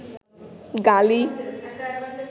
গালি